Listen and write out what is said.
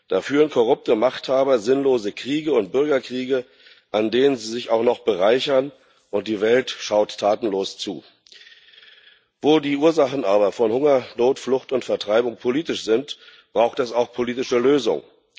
Da führen korrupte Machthaber sinnlose Kriege und Bürgerkriege, an denen sie sich auch noch bereichern, und die Welt schaut tatenlos zu. Wo die Ursachen von Hunger, Not, Flucht und Vertreibung politisch sind, braucht es auch politische Lösungen!